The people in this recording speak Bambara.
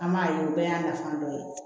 An b'a ye o bɛɛ y'a nafa dɔ ye